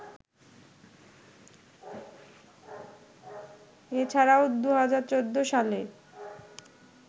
এ ছাড়াও ২০১৪ সালে